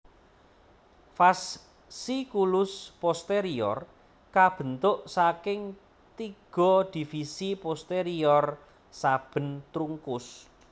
Fasciculus posterior kabentuk saking tiga divisi posterior saben trunkus